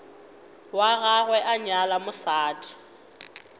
wa gagwe a nyala mosadi